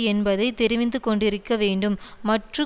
என்பதை தெரிவிந்து கொண்டிருக்க வேண்டும் மற்று